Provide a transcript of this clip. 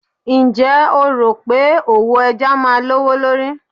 Ǹjẹ́ o rò pé òwò ẹja máa lówó lórí